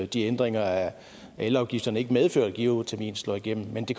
de ændringer af elafgifterne ikke medfører at geotermien slår igennem men det